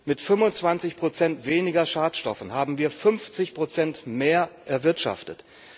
Mit 25 Prozent weniger Schadstoffen haben wir 50 Prozent mehr erwirtschaftet.